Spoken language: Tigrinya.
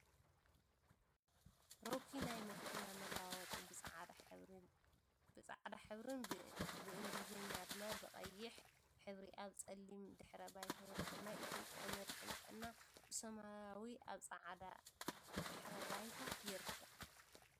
ሮኪ ናይ መኪና መለዋወጢ ብ ፃዕዳ ሕብሪ ን ብ እንግሊዘኛ ድማ ብ ቀይሕ ሕብሪ ኣብ ፀሊም ድሕረ ባይታ ይርከብ ። ናይ ኢትዮጵያ መድሕን ጥዕና ብሰማያዊ ኣብ ፅዕዳ ድሕረ ባይታ ይርከብ ።